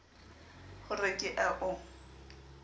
ho re ke a o